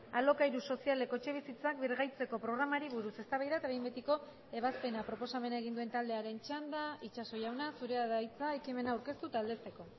alokairu sozialeko etxebizitzak birgaitzeko programari buruz eztabaida eta behin betiko ebazpena proposamena egin duen taldearen txanda itxaso jauna zurea da hitza ekimena aurkeztu eta aldezteko